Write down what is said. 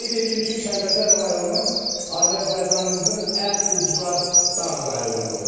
Qeyd eləyim ki, Kəlbəcər rayonu Azərbaycanımızın ən ucqar dağ rayonudur.